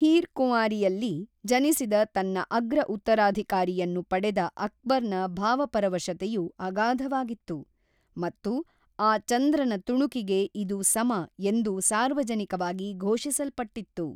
Here ಕುಂವಾರಿಯಲ್ಲಿ ಜನಿಸಿದ ತನ್ನ ಅಗ್ರ-ಉತ್ತರಾಧಿಕಾರಿಯನ್ನು ಪಡೆದ ಅಕ್ಬರ್‌ನ ಭಾವಪರವಶತೆಯು ಅಗಾಧವಾಗಿತ್ತು, ಮತ್ತು ಆ ಚಂದ್ರನ ತುಣುಕಿಗೆ ಇದು ಸಮ ಎಂದು ಸಾರ್ವಜನಿಕವಾಗಿ ಘೋಷಿಸಲ್ಪಟ್ಟಿತ್ತು.